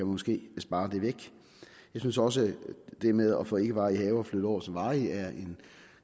måske spare det væk jeg synes også at det med at få ikkevarige haver flyttet over som varige er en